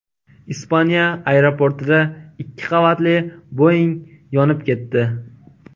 Ispaniya aeroportida ikki qavatli Boeing yonib ketdi .